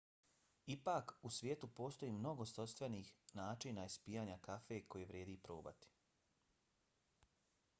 ipak u svijetu postoji mnogo svojstvenih načina ispijanja kafe koje vrijedi probati